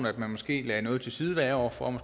at man måske lægger noget til side hvert år for